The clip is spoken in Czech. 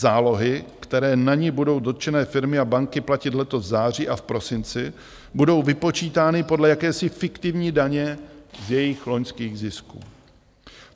Zálohy, které na ni budou dotčené firmy a banky platit letos v září a v prosinci, budou vypočítány podle jakési fiktivní daně z jejich loňských zisků.